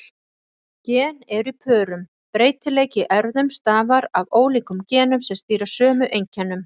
Gen eru í pörum: Breytileiki í erfðum stafar af ólíkum genum sem stýra sömu einkennum.